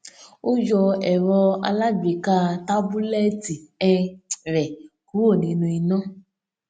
ó yọ ẹrọ alágbèéká tábúlẹẹtì um rẹ kúrò nínú iná